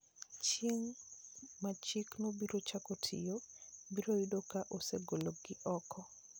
Chieng' ma chikno biro chako tiyo, biro yudo ka osegolgi oko.